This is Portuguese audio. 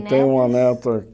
Tenho uma neta